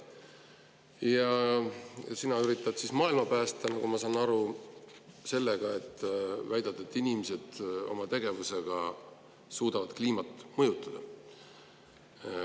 Ja nagu ma aru saan, üritad sina maailma päästa sellega, et väidad, et inimesed suudavad oma tegevuse kaudu kliimat mõjutada.